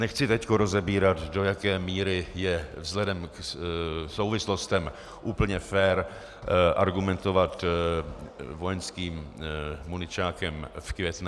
Nechci teď rozebírat, do jaké míry je vzhledem k souvislostem úplně fér argumentovat vojenským muničákem v Květné.